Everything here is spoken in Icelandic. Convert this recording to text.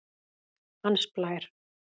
Hans Blær